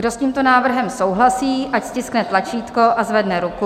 Kdo s tímto návrhem souhlasí, ať stiskne tlačítko a zvedne ruku.